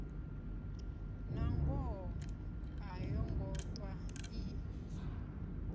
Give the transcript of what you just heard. nangoho a yongo ṱwa i